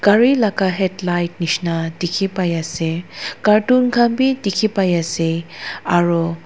ari laga headlight nishina dikhi pai ase carton khan bi dikhi pai ase aru--